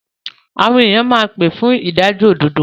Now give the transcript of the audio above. Àwọn èyàn máa pé fún ìdájọ́ òdodo.